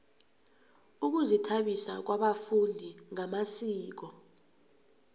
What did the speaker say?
ukuzithabisa kwabafundi ngamasiko